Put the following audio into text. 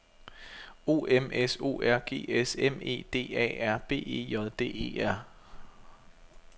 O M S O R G S M E D A R B E J D E R